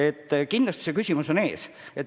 Aga kindlasti see küsimus on ees.